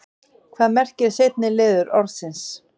hvað merkir seinni liður orðsins